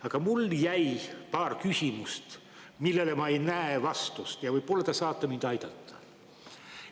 Aga mul jäi paar küsimust, millele ma ei näe vastust, ja võib-olla te saate mind aidata.